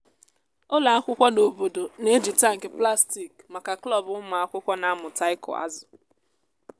ụlọ akwụkwọ n’obodo na-eji tankị plastik maka klọb ụmụakwụkwọ na-amụta ịkụ azụ.